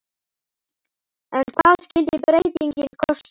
En hvað skyldi breytingin kosta?